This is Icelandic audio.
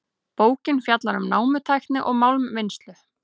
Bókin fjallar um námutækni og málmvinnslu.